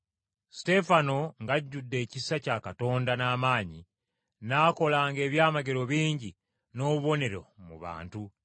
Suteefano, ng’ajjudde ekisa kya Katonda n’amaanyi, n’akolanga ebyamagero bingi n’obubonero mu bantu.